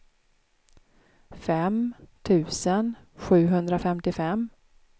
fem tusen sjuhundrafemtiofem